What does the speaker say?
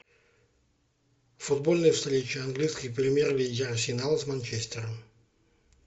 футбольная встреча английской премьер лиги арсенал с манчестером